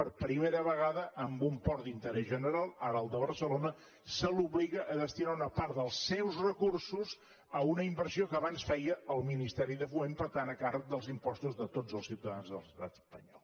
per primera vegada a un port d’interès general ara el de barcelona se l’obliga a destinar una part dels seus recursos a una inversió que abans feia el ministeri de foment per tant a càrrec dels impostos de tots els ciutadans de l’estat espanyol